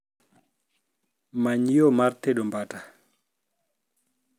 many yore mag tedo mbata